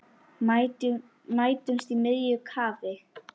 Mætumst í miðju kafi.